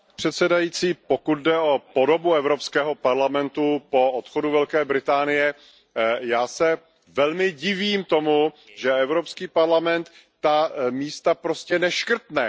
Paní předsedající, pokud jde o podobu Evropského parlamentu po odchodu Velké Británie, já se velmi divím tomu, že Evropský parlament ta místa prostě neškrtne.